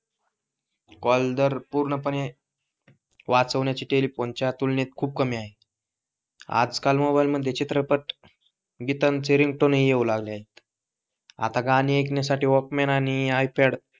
call दर पूर्णपणे वाचवण्याची टेलिफोन च्या तुलनेत खूप कमी आहे आज काल मोबाइल मध्ये चित्रपट गीतांचे रिंगटोन येऊ लागले आहेत, आता गाणी ऐकण्यासाठी वॉल्कमन आणि आयपॅड,